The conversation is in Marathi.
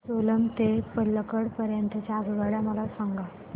सेलम ते पल्लकड पर्यंत च्या आगगाड्या मला सांगा